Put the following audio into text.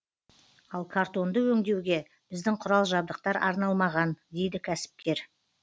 ал картонды өңдеуге біздің құрал жабдықтар арналмаған дейді кәсіпкер